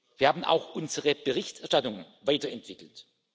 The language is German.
Wir haben auch unsere Berichterstattung weiterentwickelt.